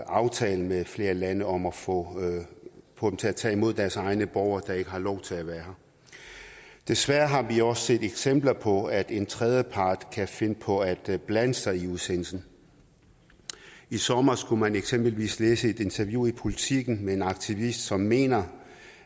aftaler med flere lande om at få dem til at tage imod deres egne borgere der ikke har lov til at være her desværre har vi også set eksempler på at en tredjepart kan finde på at blande sig i udsendelsen i sommer kunne man eksempelvis læse et interview i politiken med en aktivist som mener